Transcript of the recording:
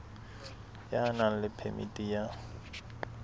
ya nang le phemiti ya